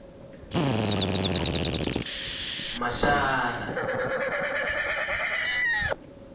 mashara